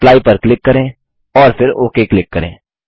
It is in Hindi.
एप्ली पर क्लिक करें और फिर ओक क्लिक करें